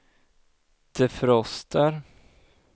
defroster